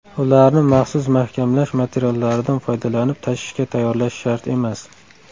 Ularni maxsus mahkamlash materiallaridan foydalanib tashishga tayyorlash shart emas.